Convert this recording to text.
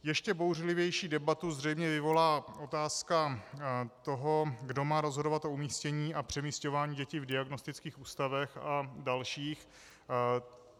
Ještě bouřlivější debatu zřejmě vyvolá otázka toho, kdo má rozhodovat o umístění a přemísťování dětí v diagnostických ústavech a dalších.